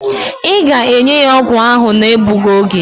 Ị ga-enye ya ọgwụ ahụ na-egbughi oge!